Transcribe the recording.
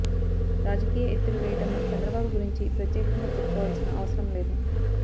రాజకీయ ఎత్తులు వేయడంలో చంద్రబాబు గురించి ప్రత్యేకంగా చెప్పుకోవాల్సిన అవసరం లేదు